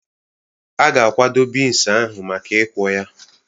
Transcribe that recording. A ga-akwado bins ahụ maka ikwọ ya.